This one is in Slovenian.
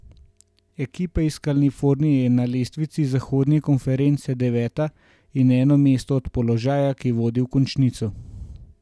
Ekipa iz Kalifornije je na lestvici zahodne konference deveta in eno mesto od položaja, ki vodi v končnico.